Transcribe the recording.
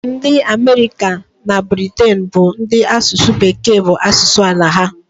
Ndị Amerịka na Briten bụ ndị asụsụ Bekee bụ asụsụ ala ha.